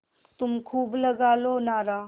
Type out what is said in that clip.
तुम खूब लगा लो नारा